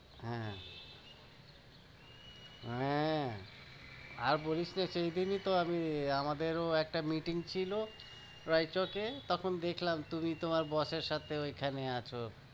হ্যাঁ হ্যাঁ, আর বলিস না সেই দিনই তো আমি আমাদেরও একটা meeting ছিল রাইচকে, তখন দেখলাম তুমি তোমার boss এর সাথেও এখানে আছো।